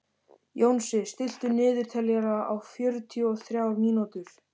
Jónsi, stilltu niðurteljara á fjörutíu og þrjár mínútur.